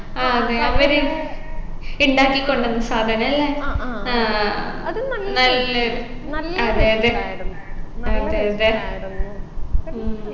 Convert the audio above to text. ആ അതെ അവര് ഉണ്ടാക്കി കൊണ്ടുവന്ന സാധനം അല്ലെ ആ നല്ലിണ്ട് അതെ അതെ അതെ അതെ ഉം